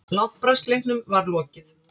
Látbragðsleiknum var lokið.